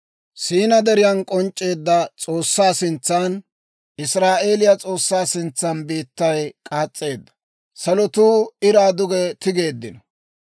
Siina Deriyan k'onc'c'eedda S'oossaa sintsan, Israa'eeliyaa S'oossaa sintsan biittay k'aas's'eedda; salotuu iraa duge tigeeddino.